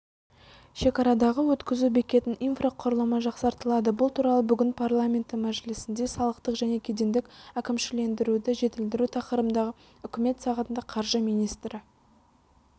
шекарадағы өткізу бекетінің инфрақұрылымы жақсартылады бұл туралы бүгін парламенті мәжілісінде салықтық және кедендік әкімшілендіруді жетілдіру тақырыбындағы үкімет сағатында қаржы министрі